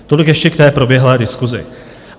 Tolik ještě k té proběhlé diskusi.